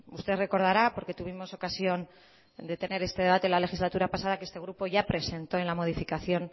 usted recordará porque tuvimos ocasión de tener este debate en la legislatura pasada que este grupo ya presentó en la modificación